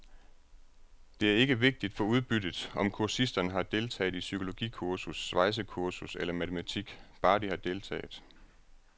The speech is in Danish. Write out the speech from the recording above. Og det er ikke vigtigt for udbyttet, om kursisterne har deltaget i psykologikursus, svejsekursus eller matematik, bare de har deltaget.